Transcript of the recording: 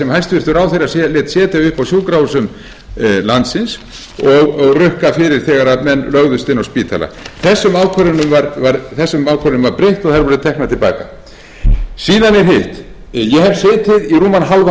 hæstvirtur ráðherra lét setja upp á sjúkrahúsum landsins og rukka fyrir þegar menn lögðust inn á spítala þessum ákvörðunum var breytt og þær voru teknar til baka síðan er hitt ég hef setið í rúman hálfan